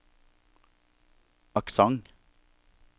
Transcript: aksent